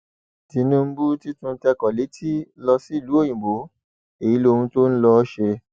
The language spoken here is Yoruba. tinúbù ti tún tẹkọ létí lọ sílùú òyìnbó èyí lohun tó ń lọọ ṣe